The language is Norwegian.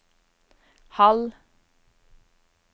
halv